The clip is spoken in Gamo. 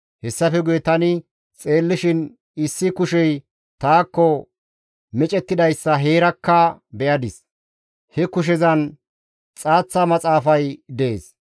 Hessafe guye tani xeellishin issi kushey taakko micettidayssa heerakka be7adis; he kushezan xaaththa maxaafay dees.